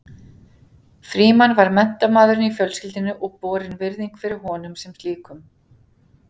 Frímann var menntamaðurinn í fjölskyldunni og borin virðing fyrir honum sem slíkum.